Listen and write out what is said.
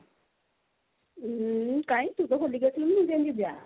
ଉଁ କାଇଁ ତୁ ତ ହୋଲି କୁ ଆସିଲୁନି ମୁଁ କାଇଁ ଯିବି ବା